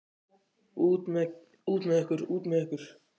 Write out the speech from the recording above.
Út með ykkur. út með ykkur.